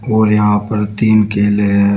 और यहां पर तीन केले है।